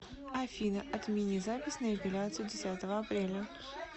афина отмени запись на эпиляцию десятого апреля